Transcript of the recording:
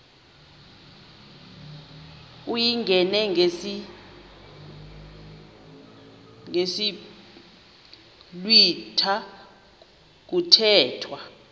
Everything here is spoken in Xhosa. uyingene ngesiblwitha kuthethwa